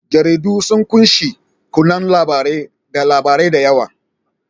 Jaridu sun ƙunshi kanun labarai da labarai da yawa.